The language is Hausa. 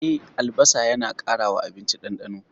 E, albasa yana ƙara wa abinci ɗandano.